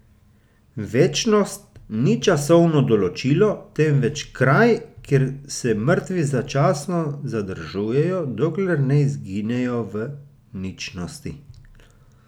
Večnost ni časovno določilo, temveč kraj, kjer se mrtvi začasno zadržujejo, dokler ne izginejo v ničnosti.